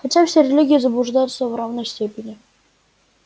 хотя все религии заблуждаются в равной степени